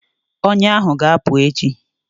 Ọnya ahụ ga-apụ na anya echi